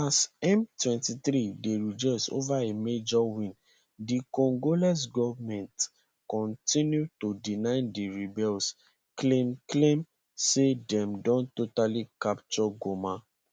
as m23 dey rejoice over a major win di congolese goment continue to deny di rebels claim claim say dem don totally capture goma